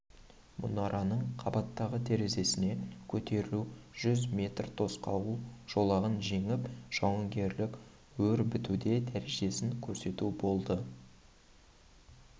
мұнараның қабаттағы терезесіне көтерілу жүз метр тосқауыл жолағын жеңіп жауынгерлік өрбітуде дәрежесін көрсету қажет болды